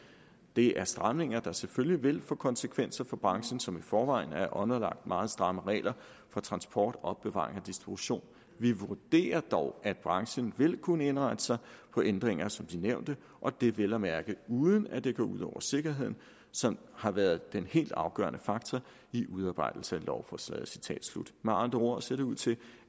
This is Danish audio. det er stramninger der selvfølgelig vil få konsekvenser for branchen som i forvejen er underlagt meget stramme regler for transport opbevaring og distribution vi vurderer dog at branchen vil kunne indrette sig på ændringer som de nævnte og det vel at mærke uden at det går ud over sikkerheden som har været en helt afgørende faktor i udarbejdelsen af lovforslaget med andre ord ser det ud til